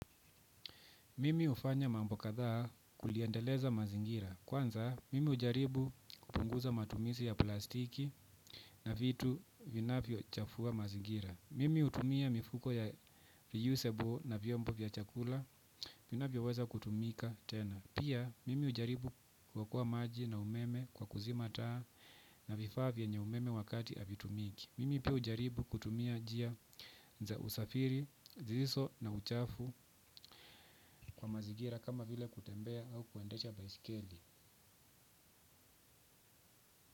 Mimi hufanya mambo kadhaa kuliendeleza mazingira. Kwanza, mimi hujaribu kupunguza matumizi ya plastiki na vitu vinavyo chafua mazingira. Mimi utumia mifuko ya reusable na viombo vya chakula vinavyo weza kutumika tena. Pia, mimi ujaribu kuokoa maji na umeme kwa kuzima taa na vifaa vyenye umeme wakati havitumiki. Mimi pia ujaribu kutumia njia za usafiri zisizo na uchafu kwa mazigira kama vile kutembea au kuendesha baiskeli.